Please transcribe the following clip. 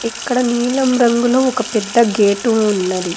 ఇక్కడ నీలం రంగులో ఒక పెద్ద గేటు ఉన్నది.